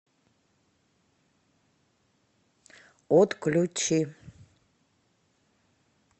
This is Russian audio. отключи